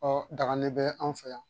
Ɔ dagali bɛ an fɛ yan